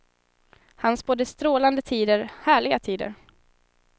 Han spådde strålande tider, härliga tider.